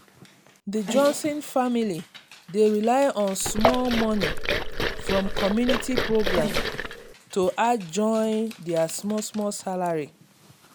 the johnson family dey rely on small money from community program to add join their small small salary.